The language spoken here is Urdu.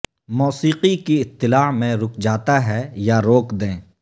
موسیقی کی اطلاع میں رک جاتا ہے یا روک دیں